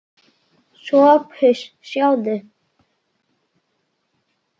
SOPHUS: Sjáðu!